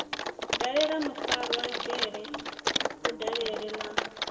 dalela mufarwa dzhele kudalele na